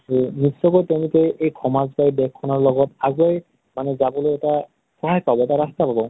ত নিশ্চিয়কৈ তেওঁলোকে এই সমাজ বা দেশখনৰ লগত আগেই মানে যাবলৈ এটা সহায় পাব বা ৰাস্তা পাব ।